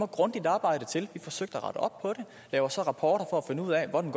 grundigt arbejde til vi forsøgte og lavede så rapporter for at finde ud af hvordan